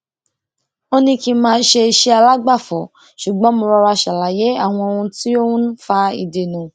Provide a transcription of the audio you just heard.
ó ní kí n máa ṣe iṣẹ alágbàfọ ṣùgbọn mo rọra ṣàlàyé àwọn ohun tí ó n fa ìdènà